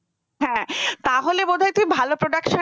হ্যাঁ তাহলে বোধহয় তুই ভালো production